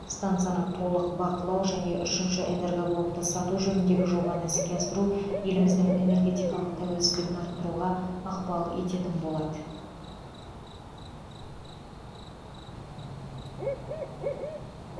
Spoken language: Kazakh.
стансаны толық бақылау жән үшінші энергоблокты сату жөніндегі жобаны іске асыру еліміздің энергетикалық тәуелсіздігін арттыруға ықпал ететін болады